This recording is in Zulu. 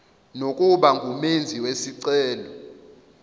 nokuba ngumenzi wesicelo